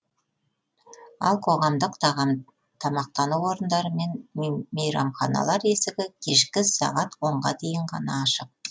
ал қоғамдық тамақтану орындары мен мейрамханалар есігі кешкі сағат онға дейін ғана ашық